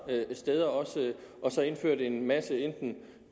steder også og indført en masse